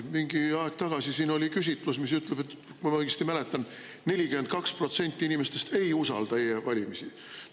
Mingi aeg tagasi siin oli küsitlus, mis ütleb, kui ma õigesti mäletan, et 42% inimestest ei usalda e-valimisi.